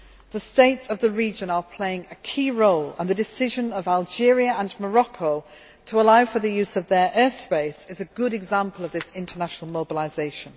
The states of the region are playing a key role, and the decision of Algeria and Morocco to authorise the use of their air space is a good example of this international mobilisation.